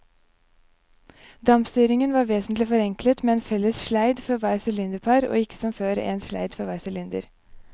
Dampstyringen var vesentlig forenklet med en felles sleid for hvert sylinderpar og ikke som før, en sleid for hver sylinder.